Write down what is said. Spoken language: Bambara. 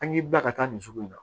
An k'i ba ka taa nin sugu in na